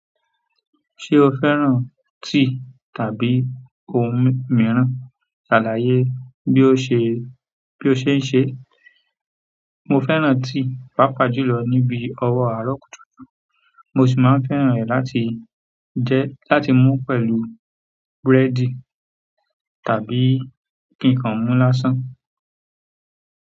Ṣé o fẹ́ràn tea tàbí ohun mìíràn? Ṣàlàyé bí ó ṣe ń ṣe. Mo fẹ́ràn tea pàápàá jù lọ níbi ọwọ́ àárọ̀ kùtùkùtù, mo sì máa ń fẹ́ràn rẹ̀ láti mú pẹ̀lú búrẹ́dì tàbí kí n kan mú lásán.